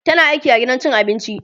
tana aiki a gidan cin abinci